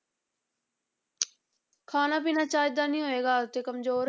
ਖਾਣਾ ਪੀਣਾ ਚੱਜਦਾ ਨੀ ਹੋਏਗਾ ਤੇ ਕੰਮਜ਼ੋਰ